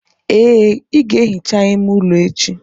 Ee, i ga-ehicha ime ụlọ echi.